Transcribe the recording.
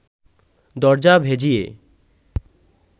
দরজা ভেজিয়ে